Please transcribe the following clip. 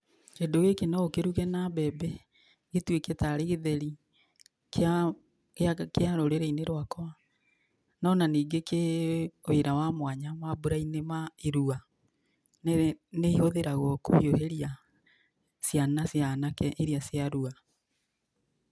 Kĩndũ gĩkĩ no ũkĩrũge na mbembe gĩtũĩke tarĩ gĩtheri kia rũrĩ~inĩ rwakwa.No na ningĩ kĩ wĩra wa mwanya mambũra~inĩ ma irũa, nĩ ihũthĩragwo kũhĩũhĩria ciana cia anake irĩa cia rũa.